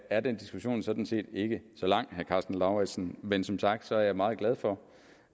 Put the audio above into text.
er den diskussion sådan set ikke så lang vil karsten lauritzen men som sagt er jeg meget glad for